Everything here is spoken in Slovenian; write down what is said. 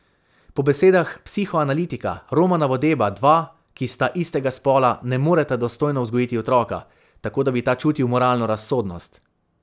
Po besedah psihoanalitika Romana Vodeba dva, ki sta istega spola, ne moreta dostojno vzgojiti otroka, tako da bi ta čutil moralno razsodnost.